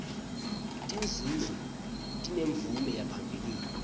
tinzunzo tinemvume yaphambilini